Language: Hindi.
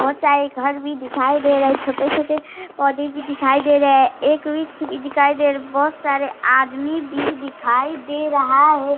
बहुत सारे घर भी दिखाई दे रहे हैं | छोटे छोटे पौधे भी दिखाई दे रहे हैं | एक वृछ भी दिखाई दे रहा है | बहुत सारे आदमी भी दिखाई दे रहा है।